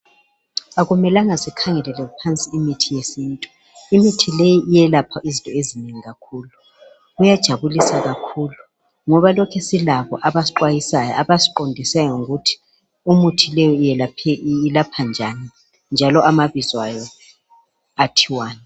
Akumelanga sikhangelele phansi imithi yesintu. Imithi leyi iyelapha izinto ezinengi kakhulu. Kuyajabulisa kakhulu ngoba lokhe silabo abasixwayisayo abasiqondisayo ngokuthi imithi leyo iyelapha njani njalo amabizo ayo athiwani.